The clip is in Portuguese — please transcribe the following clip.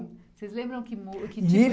Vocês lembram que mu, que